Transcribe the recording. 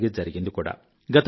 అలాగే జరిగింది కూడా